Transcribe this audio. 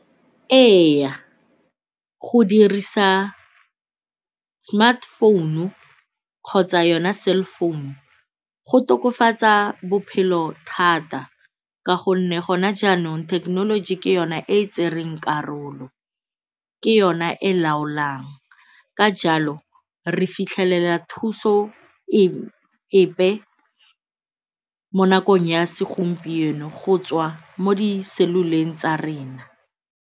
Ee, go dirisa smartphone-u kgotsa yona cell phone-u go tokafatsa bophelo thata ka gonne gona jaanong thekenoloji ke yone e tsereng karolo, ke yona e laolang ka jalo re fitlhelela thuso epe mo nakong ya segompieno go tswa mo di-cellular-eng tsa rena.